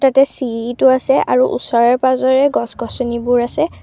ইয়াতে চিৰিটো আছে আৰু ওচৰে পাজৰে গছ গছনিবোৰ আছে।